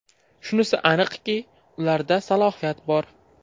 Shunisi aniqki, ularda salohiyat bor.